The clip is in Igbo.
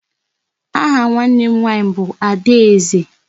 Aha nwanne m nwaanyị bụ Adaeze.